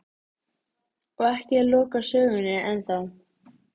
Samt finnur hann ekki fyrir minnstu löngun.